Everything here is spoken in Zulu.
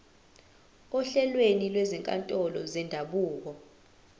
ohlelweni lwezinkantolo zendabuko